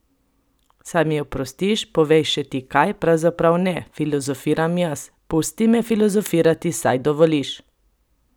Saj mi oprostiš, povej še ti kaj, pravzaprav ne, filozofiram jaz, pusti me filozofirati, saj dovoliš?